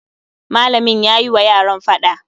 Malamin yayi wa yaran faɗa